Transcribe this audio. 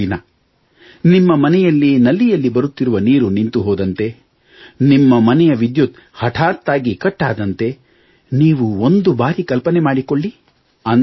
ಒಂದು ದಿನ ನಿಮ್ಮ ಮನೆಯಲ್ಲಿ ನಲ್ಲಿಯಲ್ಲಿ ಬರುತ್ತಿರುವ ನೀರು ನಿಂತು ಹೋದಂತೆ ನಿಮ್ಮ ಮನೆಯ ವಿದ್ಯುತ್ ಹಠಾತ್ತಾಗಿ ಕಟ್ ಆದಂತೆ ನೀವು ಒಂದು ಬಾರಿ ಕಲ್ಪನೆ ಮಾಡಿಕೊಳ್ಳಿ